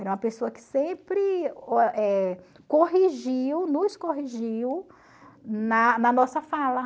Era uma pessoa que sempre eh corrigiu, nos corrigiu na na nossa fala.